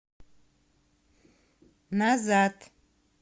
назад